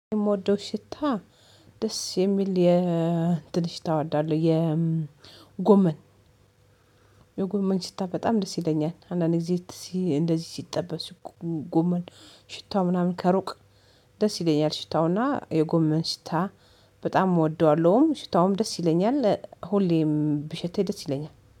የምወደው ሽታ ደስ የሚል የእንትን ሽታ እወዳለሁ የጎመን፤ የጎመን ሽታ በጣም ደስ ይለኛል። አንዳንዴ እንደዚህ ሲጠበስ ጎጎመን ሽታው ምናምን ከሩቅ ደስ ይለኛል ሽታውና የጎመን ሽታ በጣም እወደዋለሁም፤ ሽታውም ደስ ይለኛል፤ ሁሌም ብሸቴ ደስ ይለኛል።